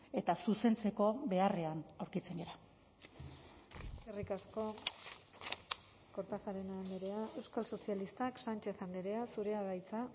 eta zuzentzeko beharrean aurkitzen gara eskerrik asko kortajarena andrea euskal sozialistak sánchez andrea zurea da hitza